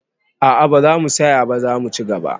A'a, ba zamu saya ba, zamu ci gaba